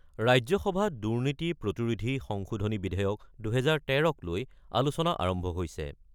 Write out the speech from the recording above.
ৰাজ্যসভাত দুৰ্নীতি প্ৰতিৰোধী সংশোধনী বিধেয়ক-২০১৩ক লৈ আলোচনা আৰম্ভ হৈছে।